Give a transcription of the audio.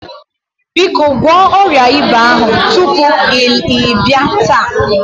Biko gwọọ ọrịa ịba ahụ tupu ị bịa taa.